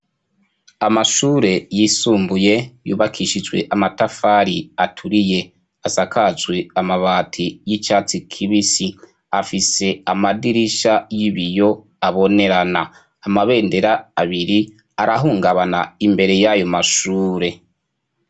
Amashure yisumbuye yubakishijwe amatafari aturiye, asakajwe amabati y'icatsi kibisi, afise amadirisha y'ibiyo abonerana, amabendera abiri arahungabana imbere y'ayo mashure.